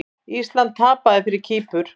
Ísland tapaði fyrir Kýpur